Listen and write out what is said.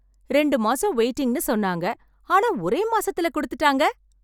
ரெண்டு மாசம் வெயிட்டிங்னு சொன்னாங்க, ஆனா ஒரே மாசத்துல கொடுத்துட்டாங்க.